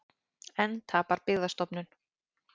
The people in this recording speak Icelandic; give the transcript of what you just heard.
Enn tapar Byggðastofnun